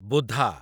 ବୁଧା